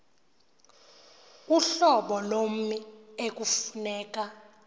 uhlobo lommi ekufuneka